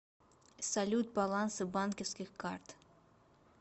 салют балансы банковских карт